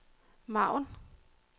margen